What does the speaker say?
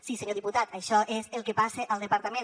sí senyor diputat això és el que passa al departament